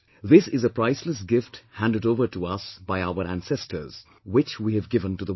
This is a priceless gift handed over to us by our ancestors, which we have given to the world